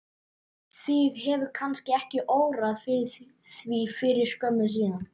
Þig hefur kannski ekki órað fyrir því fyrir skömmu síðan?